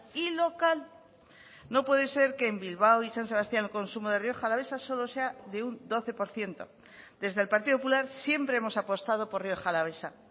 y local no puede ser que en bilbao y san sebastián el consumo de rioja alavesa solo sea de un doce por ciento desde el partido popular siempre hemos apostado por rioja alavesa